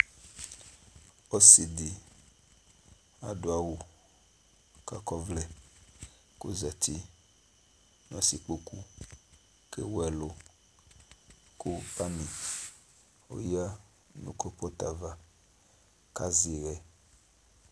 Ɔsi dɩ adʋ awʋ k'akɔvlɛ , k'ozati n'asɩkpoku k'ewu ɛlʋ ,kʋ panɩ oyǝ nʋ klopɔt ava ,k'azɛ ɩɣɛ